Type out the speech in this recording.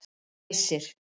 Æsir